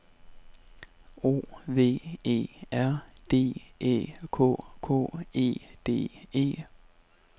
O V E R D Æ K K E D E